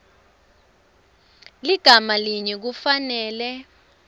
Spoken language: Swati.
ligama linye kufanele